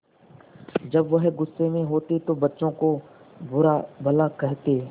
जब वह गुस्से में होते तो बच्चों को बुरा भला कहते